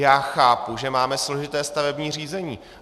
Já chápu, že máme složité stavební řízení.